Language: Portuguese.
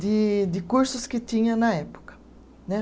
de de cursos que tinha na época né